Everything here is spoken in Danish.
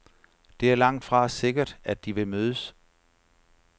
Det er langtfra sikkert, at de vil mødes.